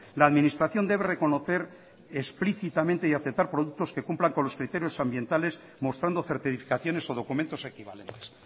la administración debe reconocer explícitamente y aceptar productos que cumplan con los criterios ambientales mostrando certificaciones o documentos equivalentes